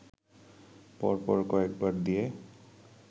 পরপর কয়েকবার দিয়ে